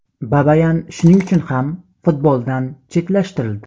Babayan shuning uchun ham futboldan chetlashtirildi.